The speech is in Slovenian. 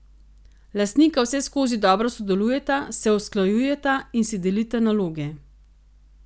Lastnika vseskozi dobro sodelujeta, se usklajujeta in si delita naloge.